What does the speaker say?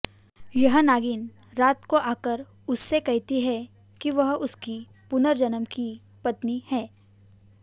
यह नागिन रात को आकर उससे कहती है कि वह उसकी पुनर्जन्म की पत्नी है